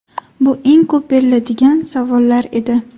Bu eng ko‘p beriladigan savollar edi.